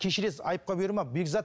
кешірерсіз айыпқа бұйырма бекзат